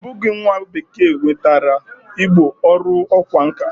O bughi nwa bekee nwetara Igbo oru okwa nka.